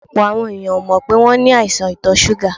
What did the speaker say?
Ọ̀pọ̀ àwọn èèyàn ò mọ́ pé àwọn ní àìsàn ìtọ̀ súgà.